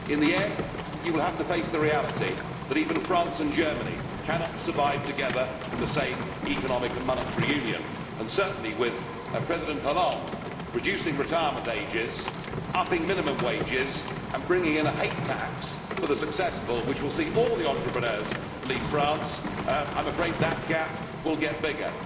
In the end, you will have to face the reality that even France and Germany cannot survive together in the same economic and monetary union and certainly with President Hollande reducing retirement ages, upping minimum wages and bringing in a hate tax for the successful, which will see all the entrepreneurs leave France, I am afraid that gap will get bigger.